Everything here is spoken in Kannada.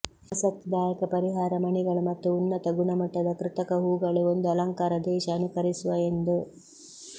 ಆಸಕ್ತಿದಾಯಕ ಪರಿಹಾರ ಮಣಿಗಳು ಮತ್ತು ಉನ್ನತ ಗುಣಮಟ್ಟದ ಕೃತಕ ಹೂಗಳು ಒಂದು ಅಲಂಕಾರ ದೇಶ ಅನುಕರಿಸುವ ಎಂದು